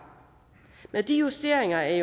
med de justeringer af